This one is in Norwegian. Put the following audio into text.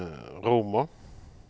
Roma